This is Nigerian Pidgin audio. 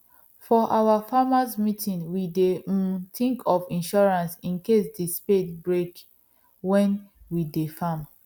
for our farmers meeting we dey um think of insurance incase the spade break when we dey farm